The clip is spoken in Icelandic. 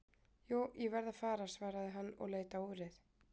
Jú, ég verð að fara svaraði hann og leit á úrið.